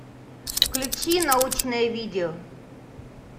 включи научное видео